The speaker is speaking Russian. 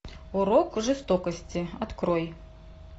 урок жестокости открой